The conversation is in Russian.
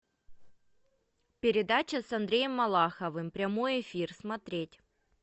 передача с андреем малаховым прямой эфир смотреть